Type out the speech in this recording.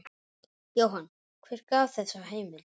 Jóhann: Hver gaf þessa heimild?